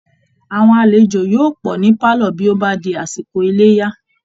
Àwọn alejò yóò pọ̀ ní pálọ̀ bí ó bá di àsìkò Iléyá